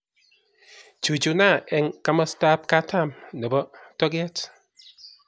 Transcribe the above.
Chuchuna eng' komostab katam nebo tokee